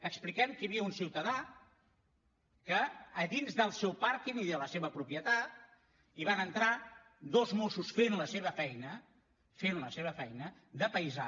expliquem que hi havia un ciutadà a dins del seu pàrquing i de la seva propietat i van entrar dos mossos que feien la seva feina que feien la seva feina de paisà